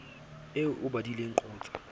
eo o e badileng qotsa